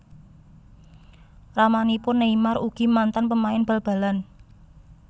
Ramanipun Neymar ugi mantan pemain bal balan